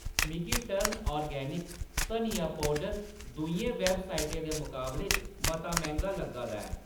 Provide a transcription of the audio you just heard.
मिगी टर्न ऑर्गेनिक धनिया पौडर दूइयें वैबसाइटें दे मकाबले च मता मैंह्‌गा लग्गा दा ऐ